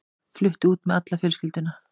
Flutti út með alla fjölskylduna.